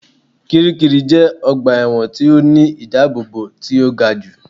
Kiríkirì jẹ́ ọgbà ẹ̀wọ̀n tí ó ní ìdábóbò tí ó ga jù